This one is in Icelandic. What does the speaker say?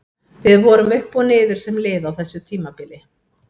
Við vorum upp og niður sem lið á þessu tímabili.